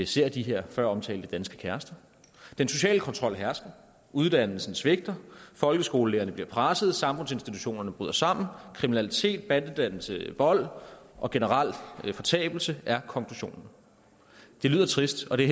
ser de her føromtalte danske kærester den sociale kontrol hersker uddannelsen svigter folkeskolelærerne bliver presset samfundsinstitutionerne bryder sammen kriminalitet bandedannelse vold og generel fortabelse er konklusionen det lyder trist og det